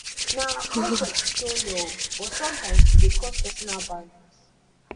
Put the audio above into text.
na our culture to show love but sometimes e dey cross personal boundaries